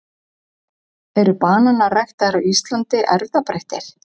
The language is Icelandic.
eru bananar ræktaðir á íslandi erfðabreyttir